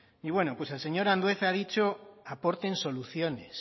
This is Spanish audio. y bueno el señor andueza ha dicho aporten soluciones